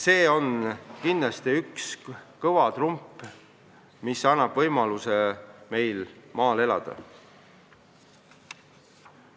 See on kindlasti üks kõva trump, mis annab võimaluse meil maal elada.